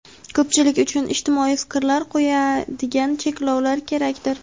ko‘pchilik uchun ijtimoiy fikr qo‘yadigan cheklovlar kerakdir.